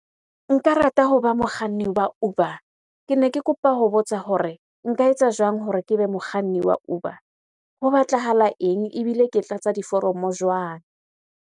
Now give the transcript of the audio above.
Nka rata hoba mokganni wa Uber. Kene ke kopa ho botsa hore nka etsa jwang hore ke be mokganni wa Uber? Ho batlahala eng ebile ke tlatsa diforomo jwang?